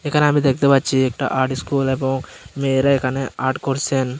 এখানে আমি দেখতে পাচ্ছি একটা আর্ট ইস্কুল এবং মেয়েরা এখানে আর্ট করসেন।